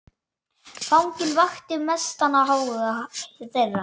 Fanginn vakti mestan áhuga þeirra.